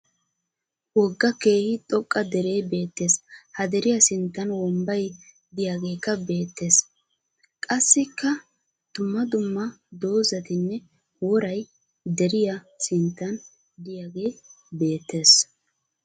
Wogga keehi xoqqa deree beettes. Ha deriya sinttan wombbay diyageekka beettes. Qassikka dumma dumma dozzatinne woray deriya sinttan diyage beettes.